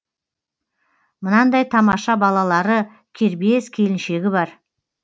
мынандай тамаша балалары кербез келіншегі бар